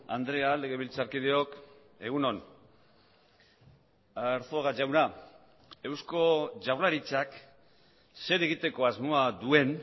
andrea legebiltzarkideok egun on arzuaga jauna eusko jaurlaritzak zer egiteko asmoa duen